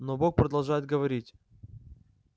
но бог продолжает говорить